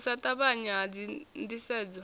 u sa ṱavhanya ha ndisedzo